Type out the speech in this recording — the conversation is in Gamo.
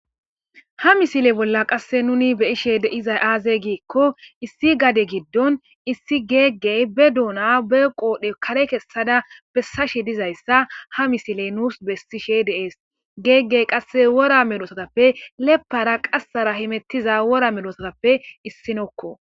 Ha misile bolla qasse nuni beyishe deizay aazey giikko issi gade giddon issi geeggey be duuna be qoodhe kare kessada bessashe dizayssa ha misiley nuus bessishe de'es. Geeggey qasse wora medosatappe leppara qassara himettiza wora medosatappe issinokko.